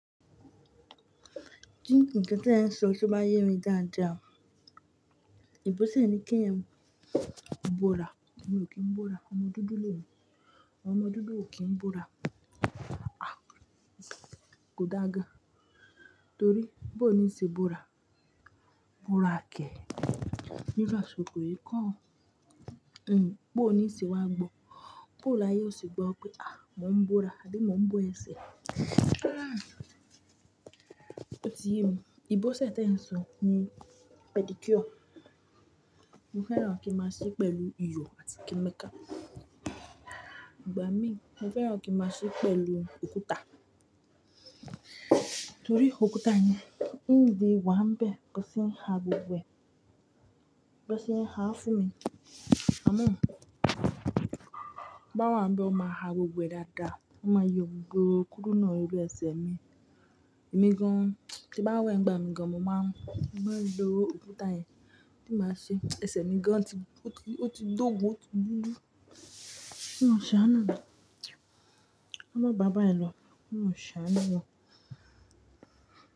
Ti nkán tí ẹ ń sọ tó bá yé mi dáadáa, ìbọ́sẹ̀ ni kí èèyàn bora, èmi ò kí n bora, ọmọ dúdú lè mi, ọmọ dúdú ò kí n bora. Ah, kò dáa gan, torí bó ni ì ṣe bora, bora kẹ̀ níru àsìkò yìí kó o, ẹ́ ń, bó ni ì ṣe wá gbọ́, bó láyé ọ ṣe gbọ́ pé ah, mò ń bora àbí mò ń bó ẹsẹ̀. Ah, ó ti yé mi, ìbọ́sẹ̀ tí ẹ̀ ń sọ ni pedicure. Mo fẹ́ràn kí máa ṣí pẹ̀lú iyò àti kẹ́míkà. Ìgbà mí, mo fẹ́ràn kí máa ṣe pẹ̀lú òkúta, torí òkúta yẹn ń di wá ń bẹ̀, bí wón ṣe é ha gbogbo è, bí wón ṣe é ha fún mi. Àmọ́ bí n bá wá ń bẹ́, wọn má ha gbo gbo ẹ dáadáa, wọn má yọ gbogbo kúrúnà órí ẹsẹ̀ mi. Èmi gan ti bá wẹ̀ nígbà mìí gan, mo máa, mo máa ń lo òkúta yẹn tí màá ṣe, ẹsẹ̀ mi gan ti, ó ti, ó ti dógùn, ó ti dúdú. Ó ń ṣàánú mí, ka mọ bà báyìi lọ, k'ọlọrun ṣàánú wa.